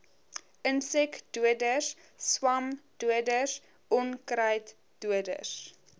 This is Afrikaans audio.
insekdoders swamdoders onkruiddoders